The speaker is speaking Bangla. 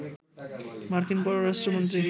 মার্কিন পররাষ্ট্র মন্ত্রী